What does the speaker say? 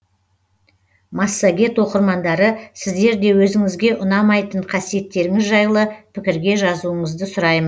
массагет оқырмандары сіздер де өзіңізге ұнамайтын қасиеттеріңіз жайлы пікірге жазуыңызды сұраймын